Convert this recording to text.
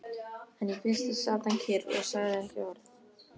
En í fyrstu sat hann kyrr og sagði ekki orð.